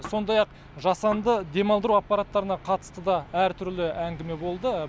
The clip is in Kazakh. сондай ақ жасанды демалдыру аппараттарына қатысты да әртүрлі әңгіме болды